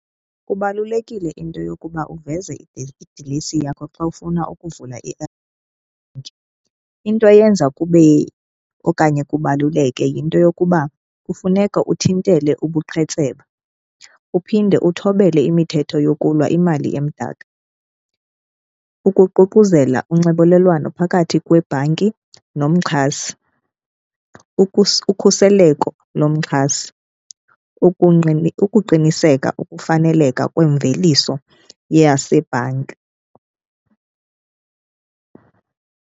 Kubalulekile into yokuba uveze idilesi yakho xa ufuna ukuvula into eyenza kube okanye kubaluleke yinto yokuba kufuneka uthintele ubuqhetseba, uphinde uthobele imithetho yokulwa imali emdaka. Ukuququzela unxibelelwano phakathi kwebhanki nomxhasi, ukhuseleko lomxhasi, ukuqiniseka ukufaneleka kwemveliso yasebhanki.